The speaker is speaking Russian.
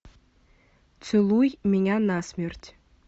целуй меня насмерть